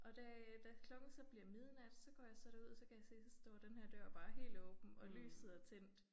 Og da øh da klokken så bliver midnat så går jeg så derud og så kan jeg se så står denne her dør bare helt åben og lyset er tændt